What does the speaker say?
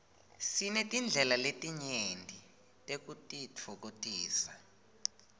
sinetindlela letinyenti tekutitfokotisa